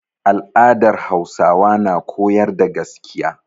Al'adar Hausawa na koyar da gaskiya.